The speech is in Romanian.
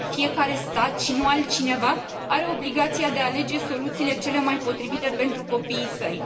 Fiecare stat și nu altcineva are obligația de a alege soluțiile cele mai potrivite pentru copiii săi.